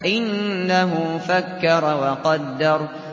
إِنَّهُ فَكَّرَ وَقَدَّرَ